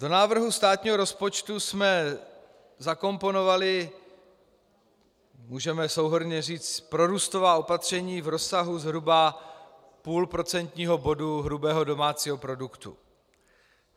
Do návrhu státního rozpočtu jsme zakomponovali, můžeme souhrnně říct, prorůstová opatření v rozsahu zhruba půl procentního bodu hrubého domácího produktu.